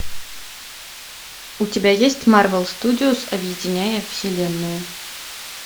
у тебя есть марвел студиос объединяя вселенную